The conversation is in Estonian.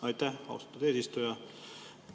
Aitäh, austatud eesistuja!